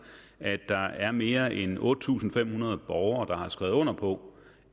at der er mere end otte tusind fem hundrede borgere der har skrevet under på